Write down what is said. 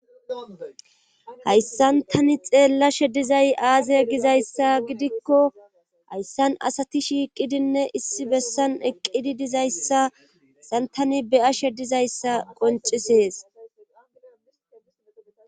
hayssan tani xeella shedizay aaze gizayssa gidikko hayssan asati shiiqidinne issi bessan eqqidi dizayssaassan tani beya she dizayssa qoncisees